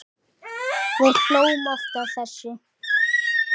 Við hlógum oft að þessu.